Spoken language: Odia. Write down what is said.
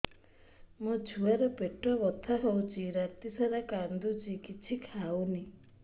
ମୋ ଛୁଆ ର ପେଟ ବଥା ହଉଚି ରାତିସାରା କାନ୍ଦୁଚି କିଛି ଖାଉନି